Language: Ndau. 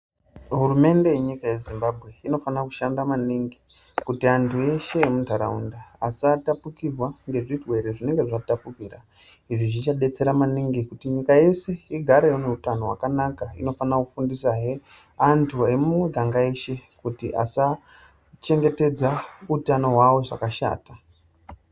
Hurumende yenyika yezimbambwe inofana kushanda maningi kuti antu ese emuntaraunda asatapukirwa ngezvirwere zvinenga zvatapukira. Izvi zvichabetsera maningi kuti nyika yese igare ineutano hwakanaka inofana kufundisahe antu emumiganga eshe kuti asa chengetedza utano hwavo zvakashata.